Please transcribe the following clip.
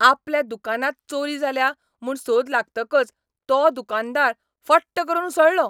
आपल्या दुकानांत चोरी जाल्या म्हूण सोद लागतकच तो दुकानदार फट्ट करून उसळ्ळो.